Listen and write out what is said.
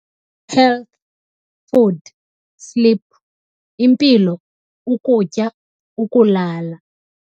Health, food, sleep, Impilo, ukutya, ukulala,